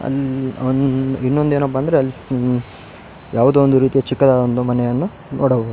ಇನ್ನೊಂದು ಏನಪ್ಪ ಅಂದ್ರೆ ಯಾವುದೆ ಒಂದು ರೀತಿಯ ಚಿಕ್ಕದಾದ ಒಂದು ಮನೆಯನ್ನು ನೋಡಬಹುದು .